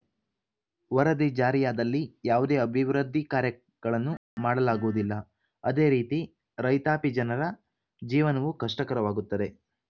ವರದಿ ಜಾರಿಯಾದಲ್ಲಿ ಯಾವುದೇ ಅಭಿವೃದ್ಧಿ ಕಾರ್ಯಗಳನ್ನು ಮಾಡಲಾಗುವುದಿಲ್ಲ ಅದೇ ರೀತಿ ರೈತಾಪಿ ಜನರ ಜೀವನವೂ ಕಷ್ಟಕರವಾಗುತ್ತದೆ